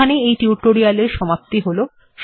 এখানেই এই টিউটোরিয়াল্ এর সমাপ্তি হল